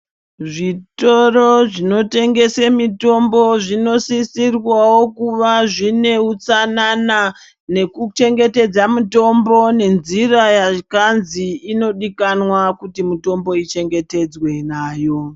Zvitoro zvinotengese mitombo zvinosisirwawo kuva zvine utsanana nekuchengetedza mitombo nenzira yakanzi inodiwa kuti mitombo ichengetedzwe nayo.